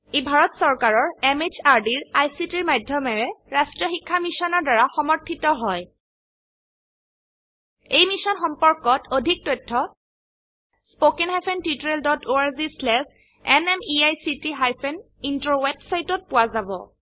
ই ভাৰত চৰকাৰৰ MHRDৰ ICTৰ মাধয়মেৰে ৰাস্ত্ৰীয় শিক্ষা মিছনৰ দ্ৱাৰা সমৰ্থিত হয় এই মিশ্যন সম্পৰ্কত অধিক তথ্য spoken hyphen tutorial dot org slash এনএমইআইচিত হাইফেন ইন্ট্ৰ ৱেবচাইটত পোৱা যাব